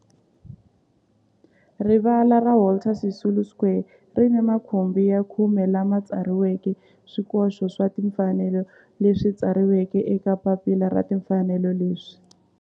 Rivala ra Walter Sisulu Square ri ni makhumbi ya khume lawa ma tsariweke swikoxo swa timfanelo leswi tsariweke eka papila ra timfanelo leswi